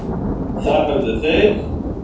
Þar höfðu þeir